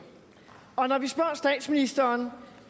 og når vi spørger statsministeren